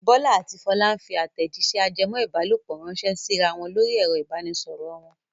Bọ́lá àti Fọlá ń fi àtẹ̀jíṣẹ́ ajẹmọ́-ìbálòpọ̀ ránṣẹ́ síra wọn lórí ẹ̀rọ ìbanisọ̀rọ̀ wọn.